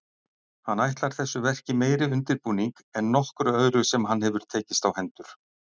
Hann ætlar þessu verki meiri undirbúning en nokkru öðru sem hann hefur tekist á hendur.